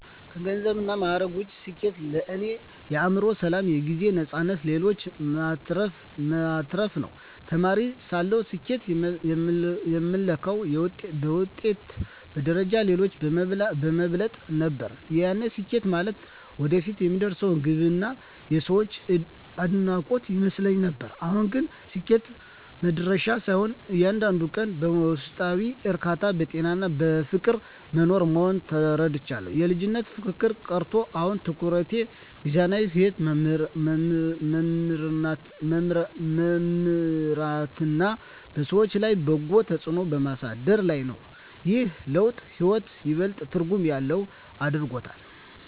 ከገንዘብና ማዕረግ ውጭ፣ ስኬት ለእኔ የአእምሮ ሰላም፣ የጊዜ ነፃነትና ለሌሎች መትረፍ ነው። ተማሪ ሳለሁ ስኬትን የምለካው በውጤት፣ በደረጃና ሌሎችን በመብለጥ ነበር፤ ያኔ ስኬት ማለት ወደፊት የምደርስበት ግብና የሰዎች አድናቆት ይመስለኝ ነበር። አሁን ግን ስኬት መድረሻ ሳይሆን፣ እያንዳንዱን ቀን በውስጣዊ እርካታ፣ በጤናና በፍቅር መኖር መሆኑን ተረድቻለሁ። የልጅነት ፉክክር ቀርቶ፣ አሁን ትኩረቴ ሚዛናዊ ሕይወት በመምራትና በሰዎች ላይ በጎ ተጽዕኖ በማሳደር ላይ ነው። ይህ ለውጥ ሕይወትን ይበልጥ ትርጉም ያለው አድርጎታል።